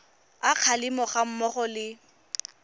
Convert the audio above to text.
a kgalemo ga mmogo le